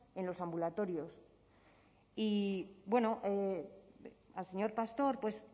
en los ambulatorios y al señor pastor